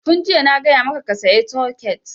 Tun jiya na gaya maka ka saya soket!